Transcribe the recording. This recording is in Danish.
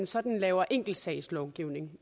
sådan at lave enkeltsagslovgivning